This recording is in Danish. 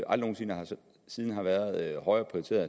aldrig nogen sinde været højere prioriteret